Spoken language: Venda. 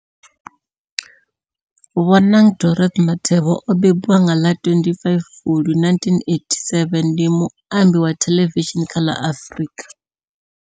Bonang Dorothy Matheba o mbembiwa nga ḽa 25 Fulwi 1987, ndi muambi wa thelevishini kha ḽa Afrika.